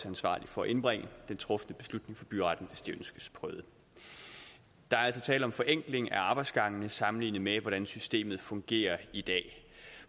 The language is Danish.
ansvarlig for at indbringe den trufne beslutning til byretten hvis den ønskes prøvet der er altså tale om forenkling af arbejdsgangene sammenlignet med hvordan systemet fungerer i dag